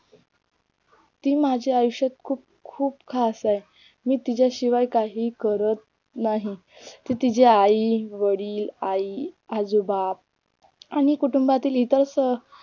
ती माझ्या आयुष्यात खूप खूप खास आहे मी तिच्याशिवाय काहीही करत नाही ती तिच्या आई, वडील आई, आजोबा आणि कुटुंबातील इतर